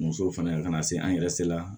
Muso fana ka na se an yɛrɛ se la